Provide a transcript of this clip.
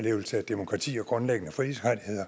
siger gå ind har